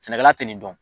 Sɛnɛkɛla tɛ nin dɔn